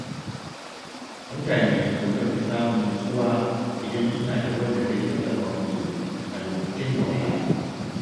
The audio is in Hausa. Mutane sukan fi samun nutsuwa idan suna da wanda zai tallafa musu a lokacin wahala.